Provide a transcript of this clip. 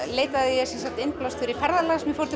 leitaði ég innblásturs í ferðalag sem ég fór